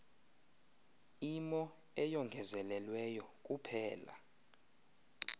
imo eyongezelelweyo kuphela